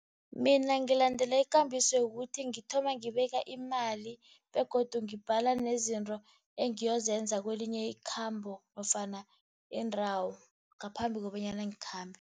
Mina ngilandela ikambiso yokuthi ngithoma ngibeka imali, begodu ngibhala nezinto engiyozenza kwelinye ikhambo, nofana iindawo, ngaphambi kobanyana ngikhambe.